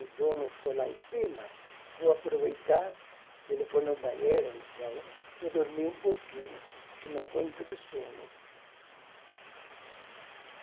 o dono for lá em cima, vou aproveitar, se ele for no banheiro ou não sei onde, vou dormir um pouquinho, porque não aguento de sono.